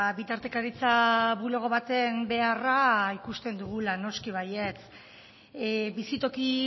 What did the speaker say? bitartekaritza bulego baten beharra ikusten dugula noski baietz bizitoki